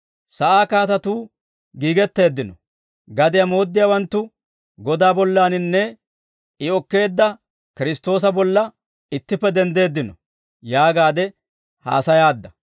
Sa'aa kaatatuu giigetteeddino; gadiyaa mooddiyaawanttu Godaa bollaninne I okkeedda Kiristtoosa bolla ittippe denddeeddino› yaagaade haasayaadda.